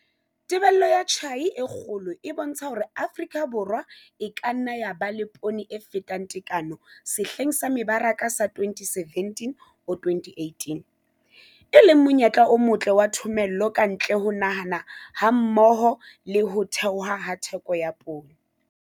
Tebello ya tjhai e kgolo e bontsha hore Afrika Borwa e ka nna ya ba le poone e fetang tekano sehleng sa mebaraka sa 2017-2018, e leng monyetla o motle wa thomello ka ntle ho naha hammoho le ho theoha ha theko ya poone.